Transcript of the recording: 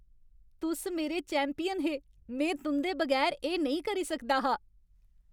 तुस मेरे चैंपियन हे! में तुं'दे बगैर एह् नेईं करी सकदा हा।